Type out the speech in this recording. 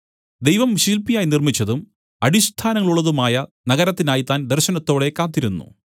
ദൈവം ശില്പിയായി നിർമ്മിച്ചതും അടിസ്ഥാനങ്ങളുള്ളതുമായ നഗരത്തിനായി താൻ ദർശനത്തോടെ കാത്തിരുന്നു